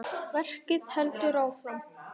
Verkið heldur áfram.